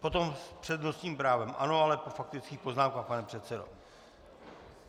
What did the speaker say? Potom s přednostním právem - ano, ale po faktických poznámkách, pane předsedo.